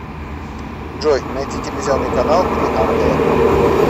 джой найти телевизионный канал три ангела